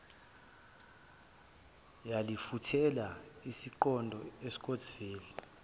yalifulathela isiqonde escottsville